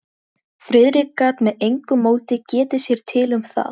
Þegar Júlía gerði mig að sögukonu.